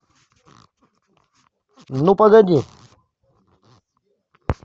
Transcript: ну погоди